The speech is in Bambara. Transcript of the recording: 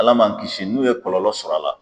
Ala man a kisi n'u ye kɔlɔlɔ sɔrɔ a la.